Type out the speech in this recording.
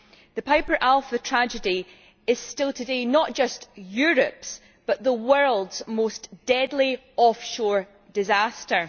The Piper Alpha tragedy is still today not just Europe's but also the world's most deadly off shore disaster.